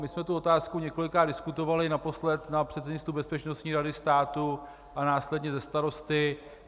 My jsme tu otázku několikrát diskutovali, naposled na předsednictvu Bezpečnostní rady státu a následně se starosty.